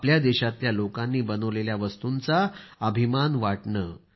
आपल्या देशातल्या लोकांनी बनविलेल्या वस्तूंचा अभिमान वाटणं